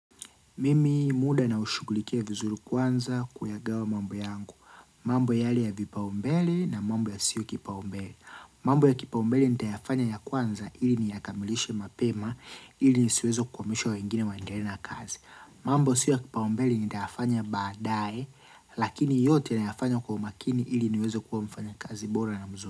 Mimi muda na ushugulikia vizuri kwanza kuyagawa mambo yangu. Mambo yale ya vipaumbele na mambo yasiyo kipaumbele. Mambo ya kipaumbele nitayafanya ya kwanza ili niyakamilishe mapema ili nisiweze kukwamisha wengine wandelee na kazi. Mambo sio ya kipaumbele nitayafanya baadae lakini yote nayafanya kwa umakini ili niweze kuwa mfanyakazi bora na.